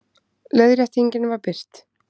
Leiðréttingin var birt